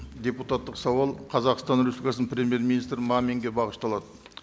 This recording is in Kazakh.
депутаттық сауал қазақстан республикасының премьер министрі маминге бағышталады